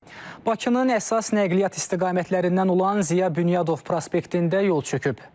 Bakının əsas nəqliyyat istiqamətlərindən olan Ziya Bünyadov prospektində yol çöküb.